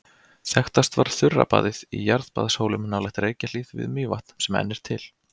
Þekktast var þurrabaðið í Jarðbaðshólum nálægt Reykjahlíð við Mývatn sem enn er til.